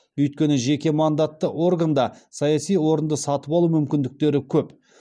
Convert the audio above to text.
өйткені жеке мандатты органда саяси орынды сатып алу мүмкіндіктері көп